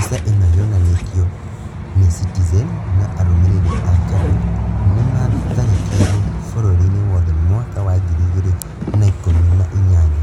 Mbica ĩno yonanĩtio nĩ citizen na arũmĩrĩri a KADU nĩ maatharĩkĩirwo bũrũriinĩ wothe mwaka wa ngiri ĩgĩrĩ na ikũmi na inyanya..